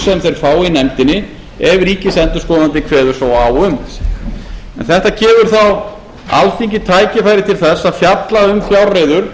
sem þeir fá í nefndinni ef ríkisendurskoðandi kveður svo á um en þetta gefur þá alþingi tækifæri til þess að fjalla um fjárreiður